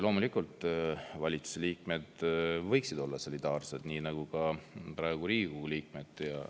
Loomulikult võiksid valitsuse liikmed olla siis solidaarsed, nii nagu praegu on Riigikogu liikmed.